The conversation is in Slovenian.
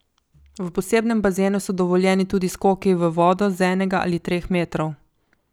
V posebnem bazenu so dovoljeni tudi skoki v vodo z enega ali treh metrov.